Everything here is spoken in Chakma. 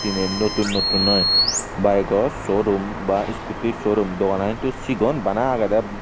tinen notun notun aai bayego showroom ba iskuti showroom doganan hintu cigon bana agedey.